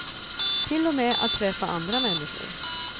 Till och med att träffa andra människor.